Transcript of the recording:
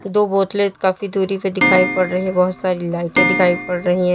दो बोतलें काफी दूरी पे दिखाई पड़ रही है बहोत सारी लाइटे दिखाई पड़ रही है।